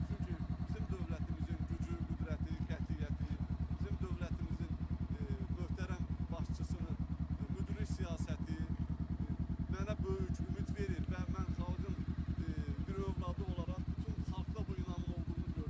Çünki bizim dövlətimizin gücü, qüdrəti, qətiyyəti, bizim dövlətimizin möhtərəm başçısının müdrik siyasəti mənə böyük ümid verir və mən xalqın bir övladı olaraq bütün xalqda bu inamın olduğunu görürəm.